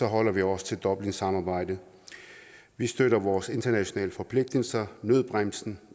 holder vi os til dublinsamarbejdet vi støtter vores internationale forpligtelser nødbremsen